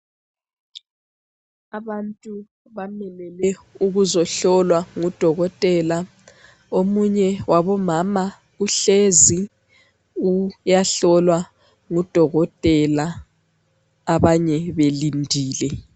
Abantu bamelele ukuzohlolwa ngudokotela ,omunye wabomama uhlezi uyahlolwa ngudokotela abanye belindile.